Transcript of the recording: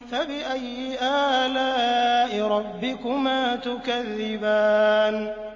فَبِأَيِّ آلَاءِ رَبِّكُمَا تُكَذِّبَانِ